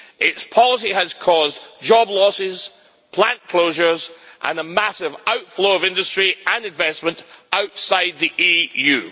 Its policy has caused job losses, plant closures and a massive outflow of industry and investment to outside the EU.